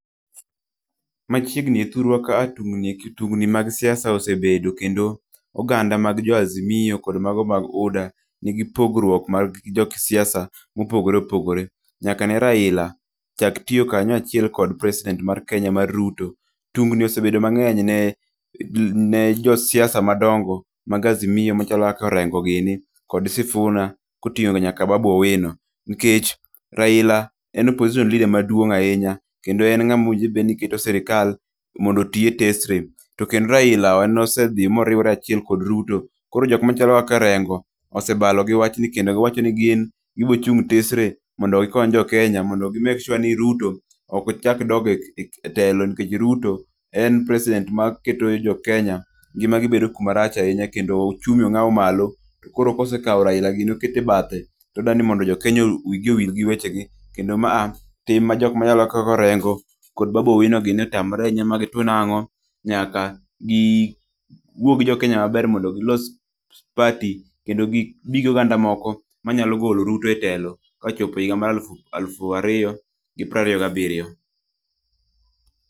Machiegnin e thurwa ka a tungni e ki tungni mag siasa osebedo kendo oganda mag jo Azimio kod mago mag UDA nigi pogruok mag jo kisiasa mopogore opogore. Nyaka ne Raila chak tiyo kanyo achiel kod President mar Kenya mar Ruto. Tungni osebedo mang'eny ne josiasa madongo mag Azimio machalo kaka Orengo gini, kod Sifuna, koting'o nyaka Babu Owino. Nikech Raila en opposition leader maduong' ahinya, kendo en n'gamowinjore bed ni keto sirikal mondo otiye tesre. To kendo Raila en nosedhi moriwore achiel kod Ruto. Koro jomachalo Orengo gin gibochung' tesre mondo gikony jo Kenya mondo gi make sure ni Ruto ok ochak odog e tel. Nikech Ruto en president ma keto jo Kenya ngima gi bedo kumarach ahinya kendo ochumi ong'awo malo. To koro kosekawo Raila gini okete bathe, to odanimondo jo Kenya wigi owil gi weche gi. Kendo ma a tim ma jok machalo kaka Orengo kod Babu Owino gini otamore ahinya ma gitwo nang'o, nyaka gi wuo gi jo Kenya maber mondo gilos party. Kendo gibi gi oganda moko manyalo golo Ruto e telo kochopo higa mar alufu, alufu ariyo gi prariyo gabiriyo.